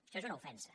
això és una ofensa